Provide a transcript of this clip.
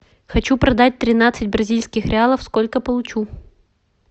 хочу продать тринадцать бразильских реалов сколько получу